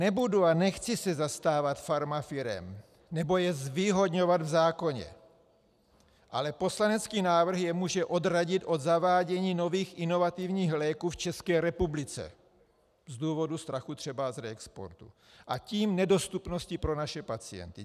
Nebudu a nechci se zastávat farmafirem nebo je zvýhodňovat v zákoně, ale poslanecký návrh je může odradit od zavádění nových inovativních léků v České republice z důvodu strachu třeba z reexportu, a tím nedostupnosti pro naše pacienty.